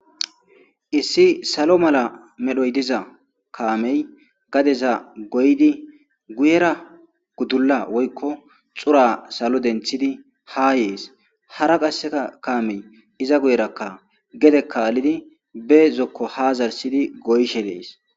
issi salo mala medhoy diza kaamey gadeza goydi guyera guddulla woykko xura salo denthidi ha yees hara qasseka kaamey iza guyerakka gede kaallidi be zokko ha zarsidi goyshe dees